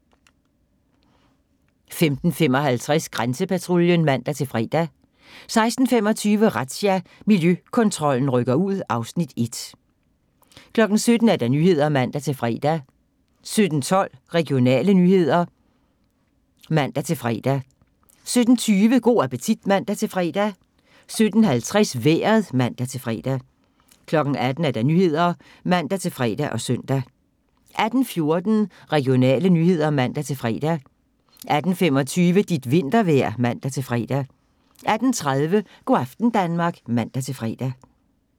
15:55: Grænsepatruljen (man-fre) 16:25: Razzia – Miljøkontrollen rykker ud (Afs. 1) 17:00: Nyhederne (man-fre) 17:12: Regionale nyheder (man-fre) 17:20: Go' appetit (man-fre) 17:50: Vejret (man-fre) 18:00: Nyhederne (man-fre og søn) 18:14: Regionale nyheder (man-fre) 18:25: Dit vintervejr (man-fre) 18:30: Go' aften Danmark (man-fre)